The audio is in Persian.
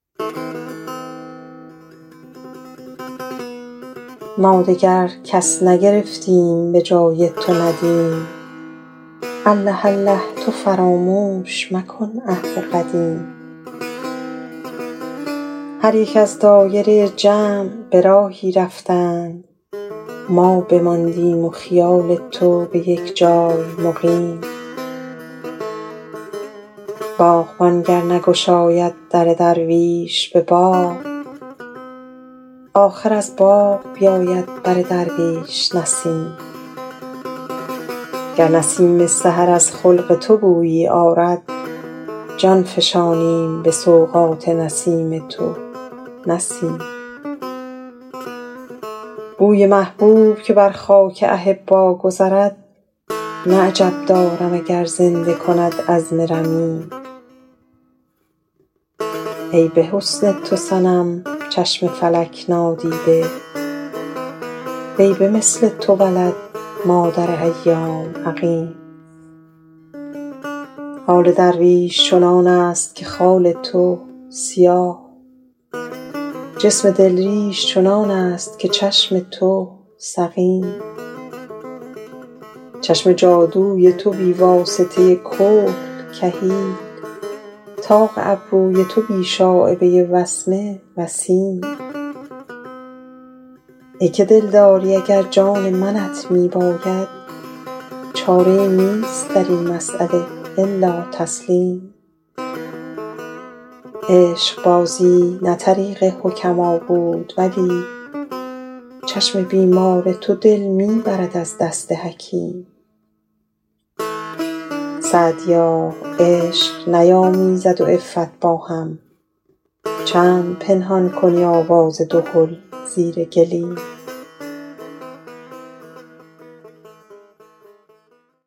ما دگر کس نگرفتیم به جای تو ندیم الله الله تو فراموش مکن عهد قدیم هر یک از دایره جمع به راهی رفتند ما بماندیم و خیال تو به یک جای مقیم باغبان گر نگشاید در درویش به باغ آخر از باغ بیاید بر درویش نسیم گر نسیم سحر از خلق تو بویی آرد جان فشانیم به سوغات نسیم تو نه سیم بوی محبوب که بر خاک احبا گذرد نه عجب دارم اگر زنده کند عظم رمیم ای به حسن تو صنم چشم فلک نادیده وی به مثل تو ولد مادر ایام عقیم حال درویش چنان است که خال تو سیاه جسم دل ریش چنان است که چشم تو سقیم چشم جادوی تو بی واسطه کحل کحیل طاق ابروی تو بی شایبه وسمه وسیم ای که دلداری اگر جان منت می باید چاره ای نیست در این مسأله الا تسلیم عشقبازی نه طریق حکما بود ولی چشم بیمار تو دل می برد از دست حکیم سعدیا عشق نیامیزد و عفت با هم چند پنهان کنی آواز دهل زیر گلیم